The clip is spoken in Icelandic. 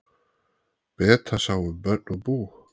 Beta sá um börn og bú.